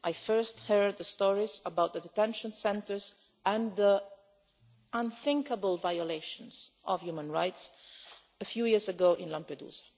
I first heard the stories about the detention centres and the unthinkable violations of human rights a few years ago in Lampedusa